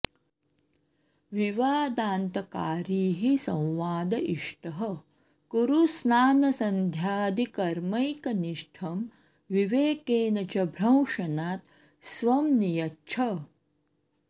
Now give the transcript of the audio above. विवादान्तकारी हि संवाद इष्टः कुरु स्नानसन्ध्यादिकर्मैकनिष्ठं विवेकेन च भ्रंशनात् स्वं नियच्छ